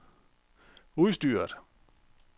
udstyret